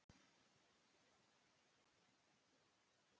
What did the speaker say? Hængur, kanntu að spila lagið „Með þér“?